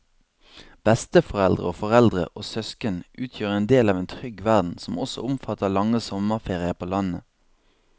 Besteforeldre og foreldre og søsken utgjør en del av en trygg verden som også omfatter lange sommerferier på landet.